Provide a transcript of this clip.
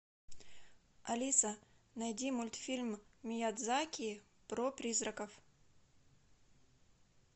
алиса найди мультфильм миядзаки про призраков